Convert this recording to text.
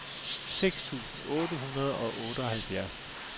seks tusind otte hundrede og otteoghalvfjerds